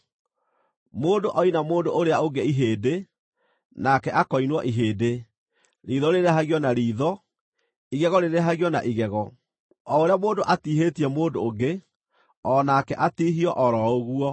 Mũndũ oina mũndũ ũrĩa ũngĩ ihĩndĩ, nake akoinwo ihĩndĩ, riitho rĩrĩhagio na riitho, igego rĩrĩhagio na igego. O ũrĩa mũndũ atiihĩtie mũndũ ũngĩ, o nake atiihio o ro ũguo.